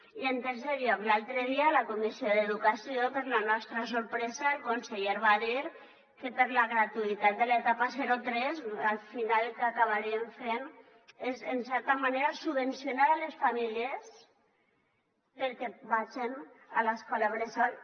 i en tercer lloc l’altre dia a la comissió d’educació per la nostra sorpresa el conseller va dir que per la gratuïtat de l’etapa zero tres al final el que acabarien fent és en certa manera subvencionar les famílies perquè vagen a l’escola bressol